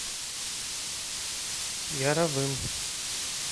яровым